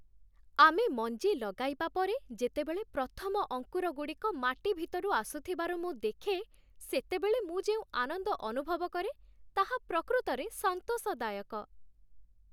ଆମେ ମଞ୍ଜି ଲଗାଇବା ପରେ ଯେତେବେଳେ ପ୍ରଥମ ଅଙ୍କୁରଗୁଡ଼ିକ ମାଟି ଭିତରୁ ଆସୁଥିବାର ମୁଁ ଦେଖେ, ସେତେବେଳେ ମୁଁ ଯେଉଁ ଆନନ୍ଦ ଅନୁଭବ କରେ, ତାହା ପ୍ରକୃତରେ ସନ୍ତୋଷଦାୟକ।